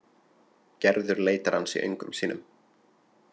Gerður leitar hans í öngum sínum.